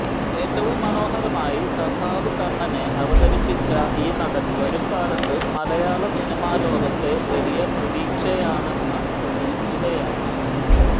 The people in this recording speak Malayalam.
ഏറ്റവും മനോഹരമായി സഖാവ് കണ്ണനെ അവതരിപ്പിച്ച ഈ നടൻ വരും കാലത്ത് മലയാള സിനിമാലോകത്തെ വലിയ പ്രതീക്ഷയാണെന്ന് തെളിയിക്കുകയാണ്